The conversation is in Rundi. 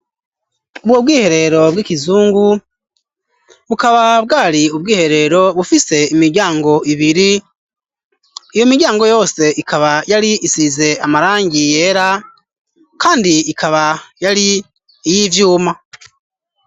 Mu bwiherero bw'ikizungu bukaba bwari ubwiherero bufise imiryango ibiri iyo miryango yose ikaba yari isize amarangi yera kandi ikaba yari iyivyuma